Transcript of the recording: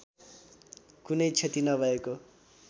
कुनै क्षति नभएको